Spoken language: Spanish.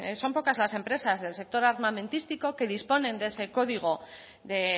son pocas las empresas del sector armamentística que disponen de ese código de